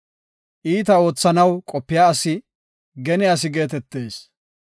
Iita oothanaw qopiya asi gene asi geetetees.